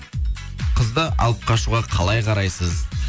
қызды алып қашуға қалай қарайсыз